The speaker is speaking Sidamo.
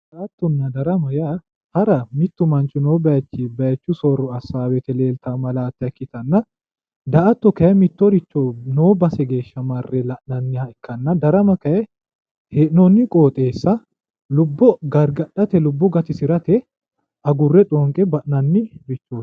Hara yaa mittu bayichu soorro assanno woyte leelitanno malaatta ikkitanna, daa"atto mittoricho noo base geeshsha marre la'nanniha ikkanna, darama kayinni hee'nonni qoxxeessa lubbo gargadhate gatisirate agurre xoonqe ba'nanni garaati.